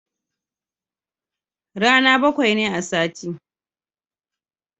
Rana bakwai ne a sati